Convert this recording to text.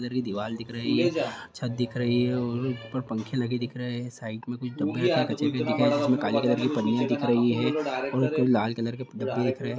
अंदर भी दीवार दिख रही है और छत दिख रही है और ऊपर पंखे लगे दिख रहे है साइड में कुछ डब्बे रखे हैं कचरे के दिख रहे है जिसमे काले कलर की पन्नियां दिख रही है और लाल कलर के डब्बे दिख रहे है।